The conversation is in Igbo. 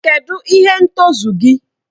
Kedụ ihe ntozu gị?